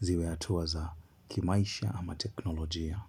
Ziwe hatuwa za kimaisha ama teknolojia.